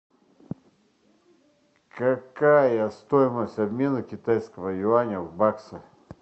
какая стоимость обмена китайского юаня в баксы